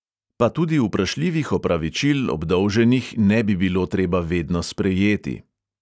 Pa tudi vprašljivih opravičil obdolženih ne bi bilo treba vedno sprejeti.